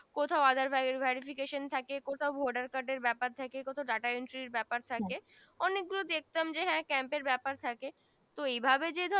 কোথাও aadhaar verification থাকে কোথাও Voter card এর বেপার ব্যাপার camp এর ব্যাপার থাকে তো এই ভাবে যে ধর